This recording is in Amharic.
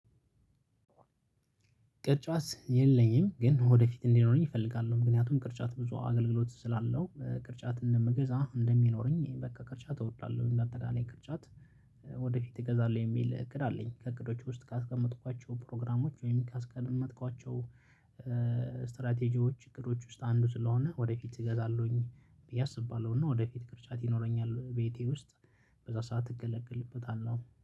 ቅርጫት የለኝም ግን ወደፊት እንዲኖረኝ እፈልጋለሁ ምክንያቱም ቅርጫት ብዙ አገልግሎት ስላለው ቅርጫት እንደምገዛ እንደሚኖረኝ በቃ ቅርጫት እወዳለሁ እንዳትገዛለኝ ቅርጫት። ወደፊት እገዛለሁ የሚል እቅድ አለኝ። ከእቅዶቹ ውስጥ ካስቀመጥኳቸው ፕሮግራሞች ወይም ካስቀመጥኳቸው። ስትራቴጂዎች ችግሮች ውስጥ አንዱ ስለሆነ ወደፊት እገዛለሁኝ ብዬ አስባለሁና ወደፊት ቅርጫት ይኖረኛል ቤቴ ውስጥ በዛ ሰዓት እገለግልበታለሁ